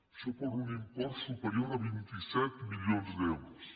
això per un import superior a vint set milions d’euros